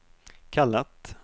kallat